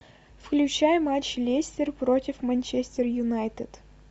включай матч лестер против манчестер юнайтед